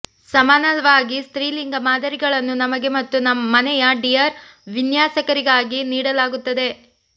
ಸಮಾನವಾಗಿ ಸ್ತ್ರೀಲಿಂಗ ಮಾದರಿಗಳನ್ನು ನಮಗೆ ಮತ್ತು ಮನೆಯ ಡಿಯರ್ ವಿನ್ಯಾಸಕಾರರಿಗೆ ನೀಡಲಾಗುತ್ತದೆ